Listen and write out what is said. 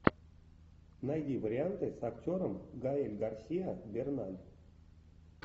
найди варианты с актером гаэль гарсиа берналь